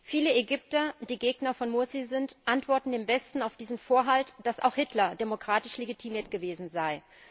Viele Ägypter, die Gegner von Mursi sind, antworten im Westen auf diesen Einwand, dass auch Hitler demokratisch legitimiert gewesen sei.